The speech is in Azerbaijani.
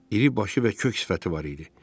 İri başı və kök sifəti var idi.